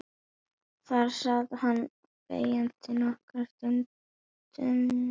Þar sat hann þegjandi nokkra stund og stundi þungan.